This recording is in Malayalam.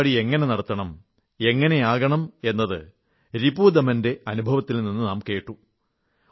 ഈ പരിപാടി എങ്ങനെ നടത്തണം എങ്ങനെയാകണം എന്നത് രിപുദമന്റെ അനുഭവത്തിൽ നിന്ന് നാം കേട്ടു